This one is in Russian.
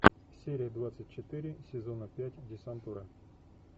серия двадцать четыре сезона пять десантура